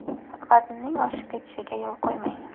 Vaznning oshib ketishiga yo‘l qo‘ymang.